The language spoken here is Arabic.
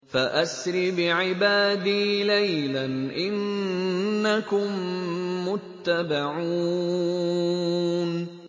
فَأَسْرِ بِعِبَادِي لَيْلًا إِنَّكُم مُّتَّبَعُونَ